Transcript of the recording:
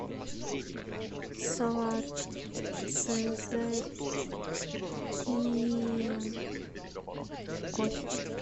салат цезарь и кофе